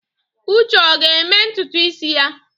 Uche ọ ga-eme ntutu isi ya?